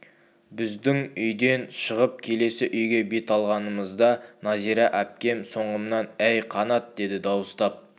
біздің үйден шығып келесі үйге бет алғанымызда нәзира әпкем соңымнан әй қанат деді дауыстап